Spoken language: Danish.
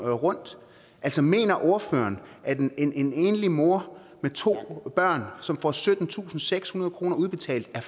rundt altså mener ordføreren at en en enlig mor med to børn som får syttentusinde og sekshundrede kroner udbetalt er